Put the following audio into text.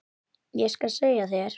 Ég skal segja þér